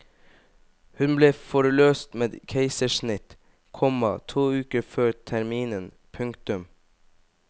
Hun ble forløst med keisersnitt, komma to uker før terminen. punktum